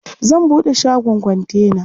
Zan buɗe shagon kontena.